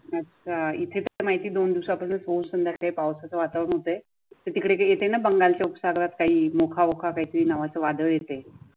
अच्छा इथे काय माहिती दोन दिवसापासून खूप सुंदर पावसाचे वातावरण होत. तिकडे ये ना बंगालच्या उपसागरात काही मोखामोखा काहीतरी नावाचं वादळ येते.